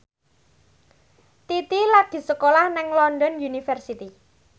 Titi lagi sekolah nang London University